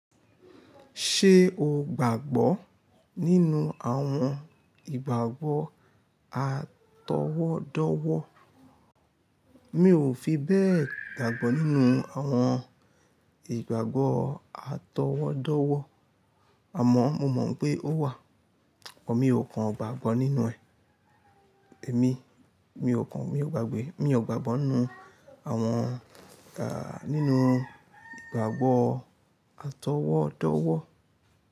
Ṣé o gbàgbọ́ nínú àwọn ìgbàgbọ́ àtọwọ́dọ́wọ́? Mi ò fi bẹ́ẹ̀ gbàgbọ́ nínú àwọn ìgbàgbọ́ àtọwọ́dọ́wọ́. Àmọ́ mo mọ̀ pé ó wà. Mi ò kàn gbàgbọ́ nínú ẹ̀. Èmi, mi ò kan, mi ò gbàgbé, mi ò gbàgbọ́ nínú àwọn ga-- nínú ìgbàgbọ́ atọwọ́dọ́wọ́.